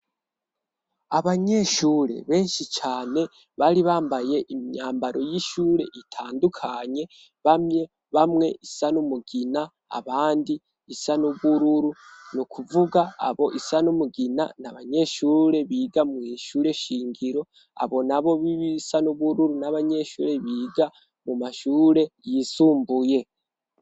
Abanyeshure benshi cane bari bambaye imyambaro y'ishure itandukanye, bamwe bamwe isa n'umugina, abandi isa n'ubururu. N'ukuvuga abo isa n'umugina ni abanyeshure biga mw' ishure shingiro, abo nabo bisa n'ubururu ni abanyeshure biga mu mashure yisumbuye.